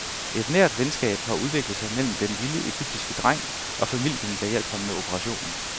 Et nært venskab har udviklet sig mellem den lille egyptiske dreng og familien der hjalp ham med operationen.